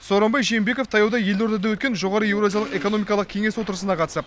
сооронбай жээнбеков таяуда елордада өткен жоғары еуразиялық экономикалық кеңес отырысына қатысып